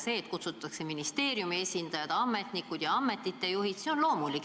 See, et kutsutakse komisjoni ministeeriumi esindajad, ametnikud ja ametite juhid, on loomulik.